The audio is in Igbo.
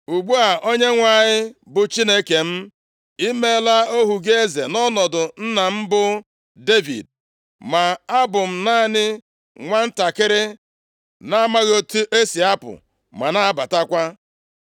“Ugbu a, Onyenwe anyị bụ Chineke m, i meela ohu gị eze nʼọnọdụ nna m, bụ Devid. Ma abụ m naanị nwantakịrị + 3:7 Ọ bụghị nwantakịrị nʼọnụọgụgụ afọ kama ọ bụ nʼamamihe, nʼihi nʼoge a, ọ bụ naanị iri afọ abụọ ka Solomọn gbara. \+xt 1Ih 22:5; Jer 1:6\+xt* na-amaghị otu esi apụ ma na-abatakwa. + 3:7 Maọbụ, na-amaghị otu m ga-esi arụ ọrụ m ndị a.